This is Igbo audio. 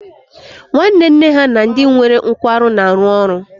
Nwanne nne ha na ndị nwere nkwarụ na-arụ ọrụ